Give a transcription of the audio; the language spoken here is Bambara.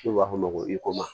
N'u b'a f'o ma ko